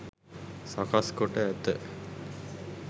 සකස් කොට ඇත.